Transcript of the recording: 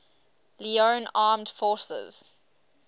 leone armed forces